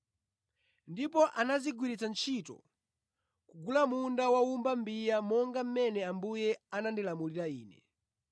Ndipo anazigwiritsa ntchito kugula munda wa wowumba mbiya monga mmene Ambuye anandilamulira ine.”